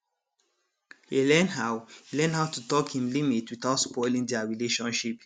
he learn how he learn how to talk him limit without spoiling their relationship